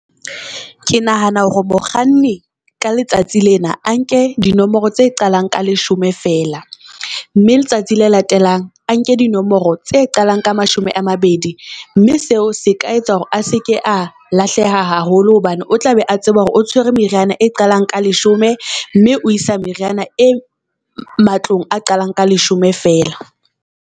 Ke nahana hore mokganni ka letsatsi lena a nke dinomoro tse qalang ka leshome feela mme letsatsi le latelang a nke dinomoro tse qalang ka mashome a mabedi. Mme seo se ka etsa hore a seke a lahleha haholo hobane o tla be a tseba hore o tshwere meriana e qalang ka leshome mme o isa meriana e matlong a qalang ka leshome feela.